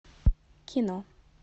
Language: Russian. кино